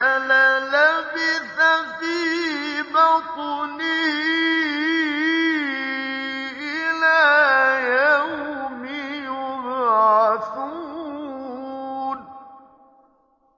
لَلَبِثَ فِي بَطْنِهِ إِلَىٰ يَوْمِ يُبْعَثُونَ